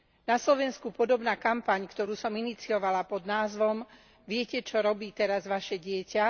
Na Slovensku podobná kampaň, ktorú som iniciovala pod názvom Viete, čo robí teraz vaše dieťa?,